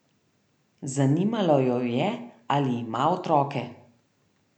Zanimalo jo je, ali ima otroke.